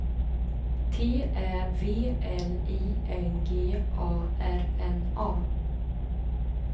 T Ä V L I N G A R N A